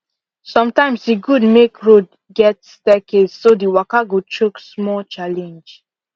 sometimes e good make road get staircase so the waka go choke small challenge